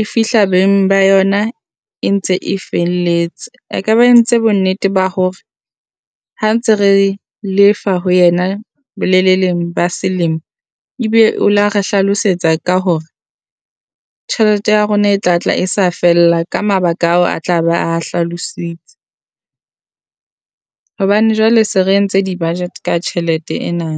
e fihla beng ba yona e ntse e felletse. A ka ba a entse bonnete ba hore ha ntse re lefa ho yena boleleleng ba selemo, ebe o la re hlalosetsa ka hore tjhelete ya rona e tla tla e sa fella ka mabaka ao a tla ba a hlalositse, hobane jwale se re entse di budget ka tjhelete ena.